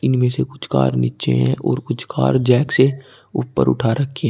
इनमें से कुछ कार नीचे है और कुछ कार जैक से ऊपर उठा रखी है।